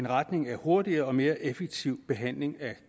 retning af en hurtigere og mere effektiv behandling af